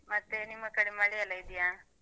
ಮತ್ತೆ ನಿಮ್ಮ ಕಡೆ ಮಳೆಯೆಲ್ಲಾ ಇದ್ಯಾ?